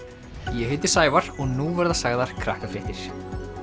ég heiti Sævar og nú verða sagðar Krakkafréttir